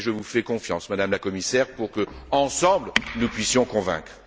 Je vous fais confiance, Madame la Commissaire, pour que, ensemble, nous puissions convaincre.